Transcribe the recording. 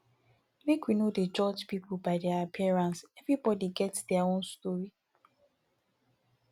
make we no dey judge pipo by their appearance everybodi get their own story